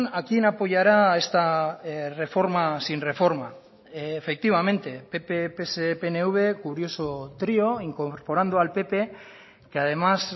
a quién apoyará esta reforma sin reforma efectivamente pp pse pnv curioso trío incorporando al pp que además